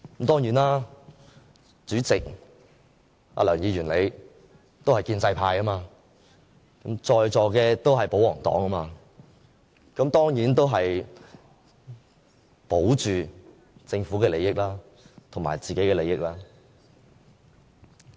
當然，主席梁議員你也是建制派，在座的都是保皇黨，當然要保着政府的利益和自己的利益。